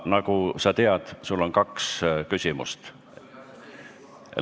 Nagu sa tead, sul on kaks küsimust.